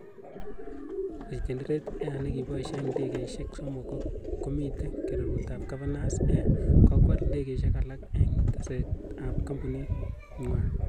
Renegade Air negipaisyie ndegeisiek somok komite keruretab Governor's air, kokwal ndegeisiek alak eng' tekseet ap kampunit ng'wai.